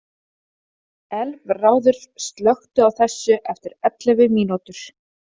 Elfráður, slökktu á þessu eftir ellefu mínútur.